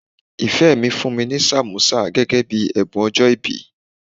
Ìfẹ́ mi fún mi ní sàmósà gẹ́gẹ́ bíi ẹ̀bùn ọjọ́ìbí.